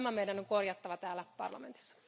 Tämä meidän on korjattava täällä parlamentissa.